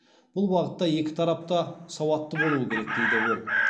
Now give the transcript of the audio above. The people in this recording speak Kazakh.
бұл бағытта екі тарап та сауатты болуы керек дейді ол